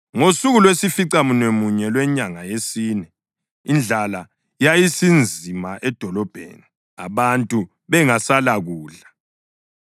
Ngosuku lwesificamunwemunye lwenyanga yesine indlala yayisinzima edolobheni, abantu bengaselakudla.